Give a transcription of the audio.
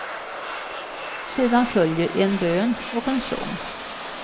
Sedan följer en bön och en sång.